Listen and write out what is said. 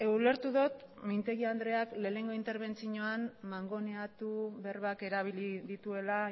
ulertu dut mintegi andreak lehenengo interbentzioan mangoneatu berbak erabili dituela